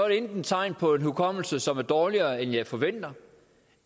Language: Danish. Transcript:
enten tegn på en hukommelse som er dårligere end jeg forventer